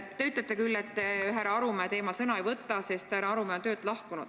Te ütlete küll, et te härra Arumäe teemal sõna ei võta, sest härra Arumäe on töölt lahkunud.